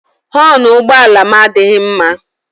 Họọnụ ụgbọala m adịghị mma.